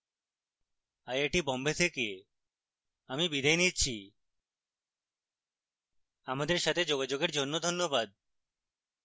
I I T Bombay থেকে আমি বিদায় নিচ্ছি আমাদের সাথে যোগাযোগের জন্য ধন্যবাদ